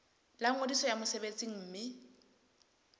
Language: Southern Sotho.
la ngodiso ya mosebetsi mme